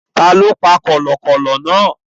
Tani ó pa kọ̀lọ̀kọ̀lọ̀ náà?